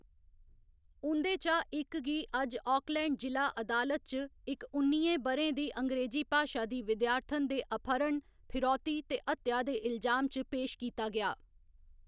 उं'दे चा इक गी अज्ज आकलैंड जि'ला अदालत च इक उन्नियें ब'रें दी अंग्रेजी भाशा दी विद्यार्थन दे अपहरण, फिरौती ते हत्या दे इलजाम च पेश कीता गेआ।